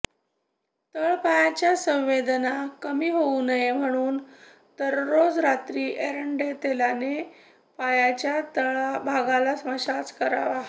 तळ पायाच्या संवेदना कमी होऊ नये म्हणून दररोज रात्री एरंण्डतैलाने पायाच्या तळभागाला मसाज करावा